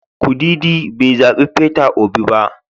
Kudidi bai zabi Peter Obi ba.